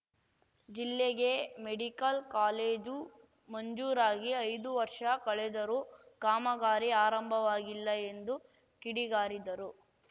ಜಿಲ್ಲೆಗೆ medical college ಮಂಜೂರಾಗಿ ಐದು ವರ್ಷ ಕಳೆದರೂ ಕಾಮಗಾರಿ ಆರಂಭವಾಗಿಲ್ಲ ಎಂದು ಕಿಡಿಗಾರಿದರು